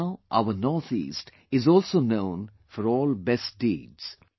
Now our Northeast is also known for all best deeds